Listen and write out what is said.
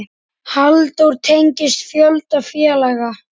Halldór tengist fjölda félaga.